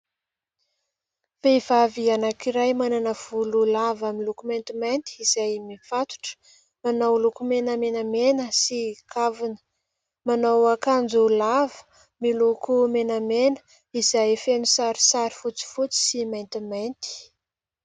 Vehivavy anankiray manana volo lava miloko maintimainty izay mifatotra ; manao lokomena menamena sy kavina ; manao akanjo lava miloko menamena, izay feno sarisary fotsifotsy sy maintimainty.